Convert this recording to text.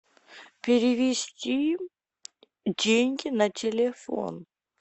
перевести деньги на телефон